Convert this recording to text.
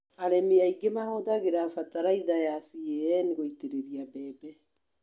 Arĩmi aingĩ matũmagĩra bataraitha ya CAN gũitĩrĩria mbembe.